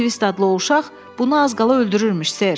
Twist adlı o uşaq bunu az qala öldürürmüş ser.